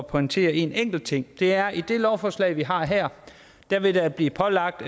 pointere en enkelt ting det er at i det lovforslag vi har her vil der blive pålagt